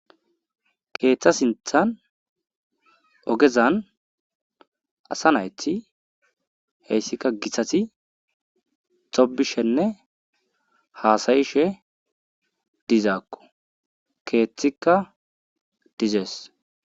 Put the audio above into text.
Keeththa sinththan ogezan asa nayti heysikka githati thobbishenne haasa7ishe dizakko keethikka dizes.